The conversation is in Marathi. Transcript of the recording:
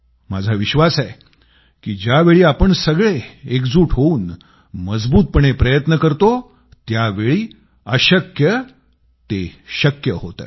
माझा विश्वास आहे की ज्यावेळी आपण सगळे एकजूट होवून मजबूतपणे प्रयत्न करतो त्यावेळी अशक्य ते शक्य होते